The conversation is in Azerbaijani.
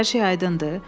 Hər şey aydındır?